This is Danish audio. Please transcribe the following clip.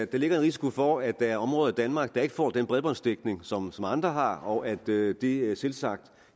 der ligger en risiko for at der er områder i danmark der ikke får den bredbåndsdækning som andre har og at det det selvsagt